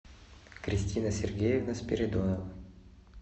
кристина сергеевна спиридонова